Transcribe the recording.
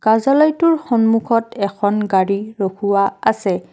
কাৰ্য্যলয়টোৰ সন্মুখত এখন গাড়ী ৰখোৱা আছে।